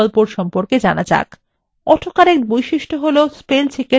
auto correct বৈশিষ্ট্য হল spellcheck এর একটি উন্নত পরিসেবা